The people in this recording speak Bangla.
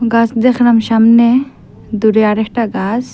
গাস দ্যাখলাম সামনে দূরে আরেকটা গাস ।